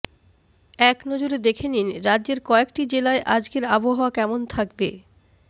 একনজরে দেখে নিন রাজ্যের কয়েকটি জেলায় আজকের আবহাওয়া কেমন থাকবে